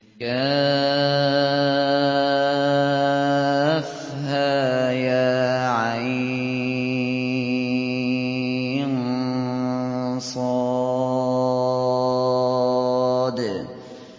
كهيعص